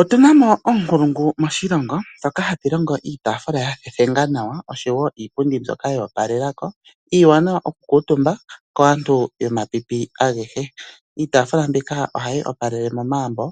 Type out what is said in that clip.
Otu na mo oonkulungu moshilongo ndhoka haya longo iiyafula yeyi thethenga nawa nosho wo iipundi mboka yoopalelako, iiwanawa oku kuutumbwa kaantu yomapipi agehe. Iitafula mbika ohayi opalele momagumbo